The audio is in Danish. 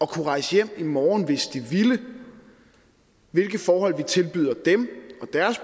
kunne rejse hjem i morgen hvis de ville og hvilke forhold vi tilbyder dem